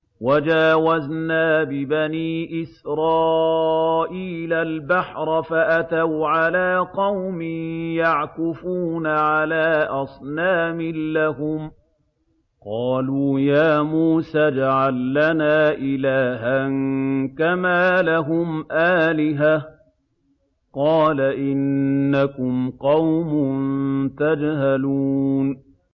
وَجَاوَزْنَا بِبَنِي إِسْرَائِيلَ الْبَحْرَ فَأَتَوْا عَلَىٰ قَوْمٍ يَعْكُفُونَ عَلَىٰ أَصْنَامٍ لَّهُمْ ۚ قَالُوا يَا مُوسَى اجْعَل لَّنَا إِلَٰهًا كَمَا لَهُمْ آلِهَةٌ ۚ قَالَ إِنَّكُمْ قَوْمٌ تَجْهَلُونَ